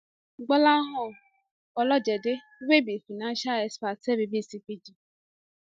gbolahan olojede wey be financial expert tell bbc pidgin